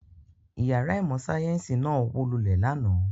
Ìyàrá ìmọ̀-sáyẹ́ńsì náà wó lálẹ́ àná.